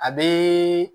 A be